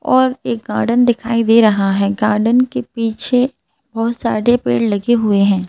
और एक गार्डन दिखाई दे रहा है गार्डन के पीछे बहुत सारे पेड़ लगे हुए हैं।